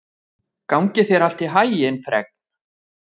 Gangi þér allt í haginn, Fregn.